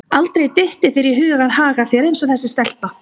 Aldrei dytti þér í hug að haga þér eins og þessi stelpa.